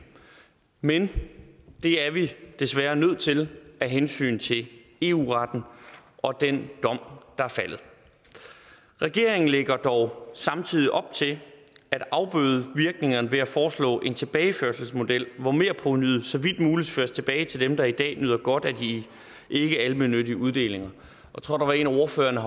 men det er vi desværre nødt til af hensyn til eu retten og den dom der er faldet regeringen lægger dog samtidig op til at afbøde virkningerne ved at foreslå en tilbageførselsmodel hvor merprovenuet så vidt muligt føres tilbage til dem der i dag nyder godt af de ikkealmennyttige uddelinger jeg tror der var en af ordførerne